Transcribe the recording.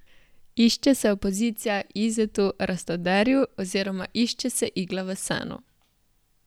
Išče se opozicija Izetu Rastoderju oziroma išče se igla v senu.